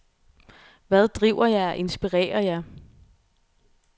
Hvad driver jer og inspirerer jer?